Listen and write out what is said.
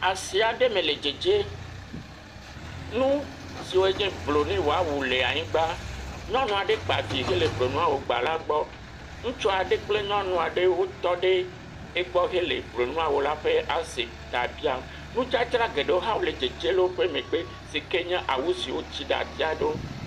Asi aɖe me le dzedze, nu siwo nye broniwawu le anyigba, nyɔnua ɖe kpa vi hele broniwawu gba la gbɔ, Ŋutsua ɖe kple nyɔnua ɖe wotɔ ɖe egbɔ hele broniwawu la ƒe asi ta biam. Nudzadzra geɖewo hã le dzedze le woƒe megbe si ke awu si wotsi ɖe atia ɖewo.